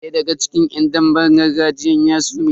Daya daga cikin yan damben gargajiyan ya sume.